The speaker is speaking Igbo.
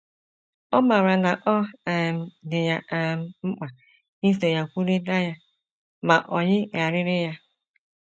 Ọ maara na ọ um dị ya um mkpa iso ya kwurịta ya, ma o yigharịrị ya.